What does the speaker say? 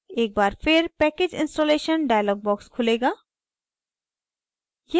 एक बार फिर package installation dialog box खुलेगा